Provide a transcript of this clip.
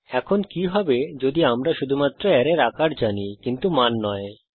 এখন কি হবে যদি আমরা শুধুমাত্র অ্যারের আকার জানি কিন্তু মান নয়